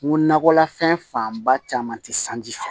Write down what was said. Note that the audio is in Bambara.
N ko nakɔla fɛn fanba caman tɛ sanji fɛ